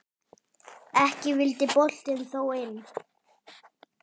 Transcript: Ekki vildi boltinn þó inn.